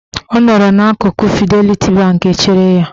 Ọ nọrọ n'akụkụ Fideliti Bank chere ya.